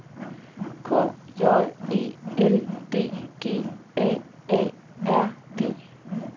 K J E L D G A A R D